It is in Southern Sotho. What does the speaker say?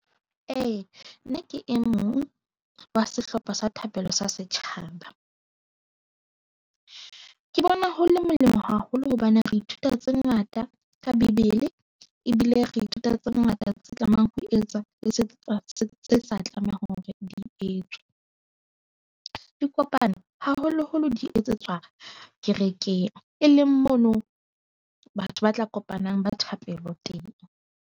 E, nna ke e mong wa sehlopha sa thapelo sa setjhaba. Ke bona ho le molemo haholo hobane re ithuta tse ngata ka bebele ebile re ithuta tse ngata tse tlamehang ho etswa le tseo tse sa tlamehang hore di etswe. Dikopano haholo-holo di etsetswa kerekeng e leng mono, batho ba tla kopanang ba thapelo teng.